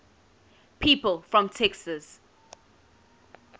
people from texas